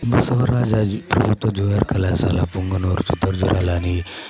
బసవరాజ ప్రభుత్వ జూనియర్ కళాశాల పుంగనూరు అని